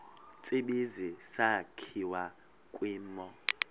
tsibizi sakhiwa kwimo